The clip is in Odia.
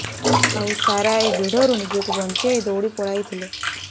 ଆଉ ସାରା ଏହି ଭିଡରୁ ନିଜକୁ ବଞ୍ଚାଇ ଦୌଡ଼ି ପଳାଇଥିଲେ